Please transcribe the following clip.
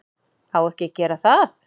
Á ekki að gera það.